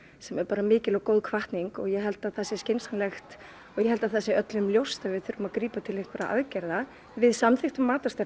sem er mikil og góð hvatning og ég held að það sé skynsamlegt og ég held að það sé öllum ljóst að við ætlum að grípa til einhverra aðgerða við samþykktum